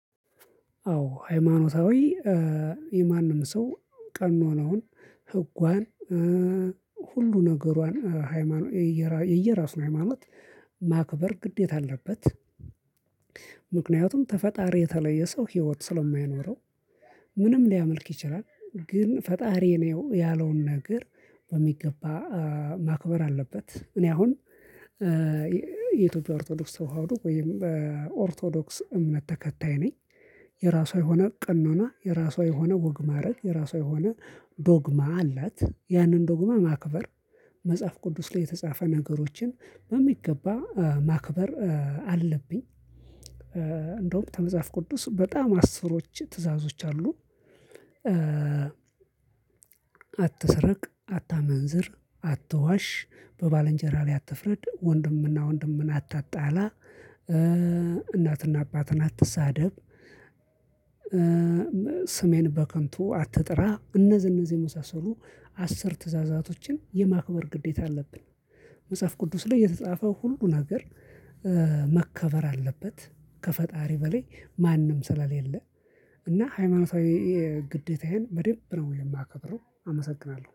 አዎ ሃይማኖታዊ የማንም ሰው ቀን መኖሩን ህጓን ሁሉ ነገሯን ሃይማኖት የየራሱን ሃይማኖት ማክበር ግዴታ አለበት። ምክንያቱም ከፈጣሪ የተለየ ሰው ህይወት ስለማይኖረው። ምንም ሊያመልክ ይችላል ግን ፈጣሪ ነው ያለውን ነገር በሚገባ ማክበር አለበት። እኔ አሁን የኢትዮጵያ ኦርቶዶክስ ተዋህዶ ወይም ኦርቶዶክስ እምነት ተከታይ ነኝ። የራሷ የሆነ ቅኖና የራሷ የሆነ ወግ ማእረግ የራሷ የሆነ ዶግማ አላት። ያንን ዶግማ ማክበር መጽሐፍ ቅዱስ ላይ የተጻፈ ነገሮችን በሚገባ ማክበር አለብኝ። እንደውም ከመጽሐፍ ቅዱስ በጣም አስሮች ትዕዛዞች አሉ። አትስርቅ አታመንዝር አትዋሽ በባልንጀራ ላይ አትፍረድ ወንድምና ወንድምን አታጣላ። እናትና አባትን አትሳደብ። ስሜን በከንቱ አትጥራ እነዚህ እነዚህ የመሳሰሉ አስር ትእዛዛቶችን የማክበር ግዴታ አለብን። መጽሐፍ ቅዱስ ላይ የተጻፈው ሁሉ ሀገር መከበር አለበት። ከፈጣሪ በላይ ማንም ስለሌለ። እና ሃይማኖታዊ ግዴታዬን በደንብ ነው የማከብረው አመሰግናለሁ